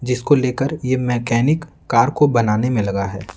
जिसको लेकर ये मैकेनिक कार को बनाने में लगा है।